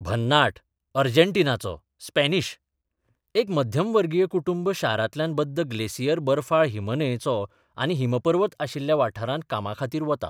भन्नाट, अर्जेंटिनाचो, स्पॅनिश एक मध्यमवर्गीय कुटुंब शारांतल्यान बद्द ग्लेसियर बर्फाळ हिमन्हंयचो आनी हिमपर्वत आशिल्ल्या वाठारांत कामाखातीर वता.